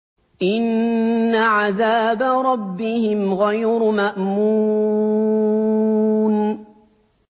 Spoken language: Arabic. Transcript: إِنَّ عَذَابَ رَبِّهِمْ غَيْرُ مَأْمُونٍ